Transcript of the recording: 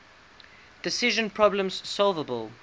decision problems solvable